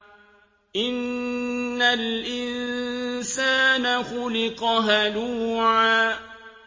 ۞ إِنَّ الْإِنسَانَ خُلِقَ هَلُوعًا